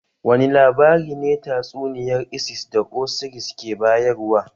Wane labari ne tatsuniyar isis da osiris ke bayarwa?